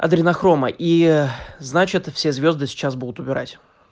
адренохрома и значит все звезды сейчас будут убирать